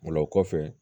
O la o kɔfɛ